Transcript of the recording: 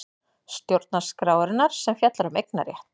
Stjórnarskrárinnar sem fjallar um eignarétt.